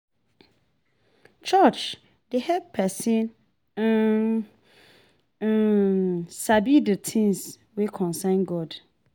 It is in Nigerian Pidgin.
Church dey help pesin um um sabi de things wey concern God.